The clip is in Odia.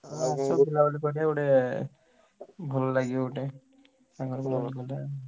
ଆଉ ଆସ ବୁଲାବୁଲି କରିଆ ଗୋଟେ ଭଲ ଲାଗିବ ଗୋଟେ ସାଙ୍ଗରେ ସବୁ ଗଲେ।